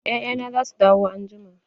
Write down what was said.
Ya'ya na za su dawo anjima.